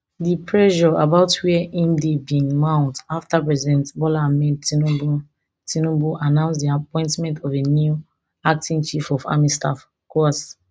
di pressure about wia im dey bin mount afta president bola ahmed tinubu tinubu announce di appointment of a new acting chief of army staff coas